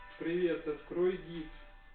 привет открой диск